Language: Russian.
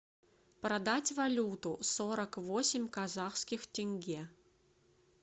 продать валюту сорок восемь казахских тенге